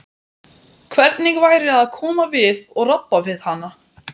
Hvernig væri að koma við og rabba við hana?